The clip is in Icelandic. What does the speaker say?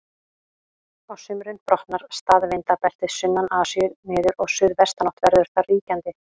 Á sumrin brotnar staðvindabeltið sunnan Asíu niður og suðvestanátt verður þar ríkjandi.